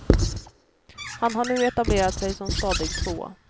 Han har nu etablerat sig som stadig tvåa.